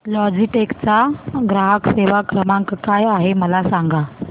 Logitech चा ग्राहक सेवा क्रमांक काय आहे मला सांगा